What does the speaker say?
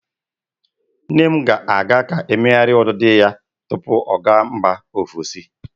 Nne m ga-aga ka emeghari udidi ya tupu ọ ga mba ofesi.